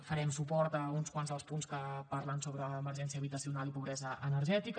farem suport a uns quants dels punts que parlen sobre emergència habitacional i pobresa energètica